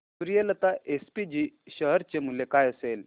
Suryalata SPG share चे मूल्य काय असेल